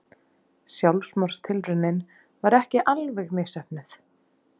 Sjálfsmorðstilraunin var ekki alveg misheppnuð.